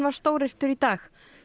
var stóryrtur í dag